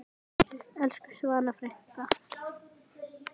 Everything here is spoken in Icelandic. Elsku Svava frænka.